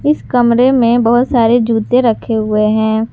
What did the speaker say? इस कमरे में बहोत सारे जूते रखे हुए हैं।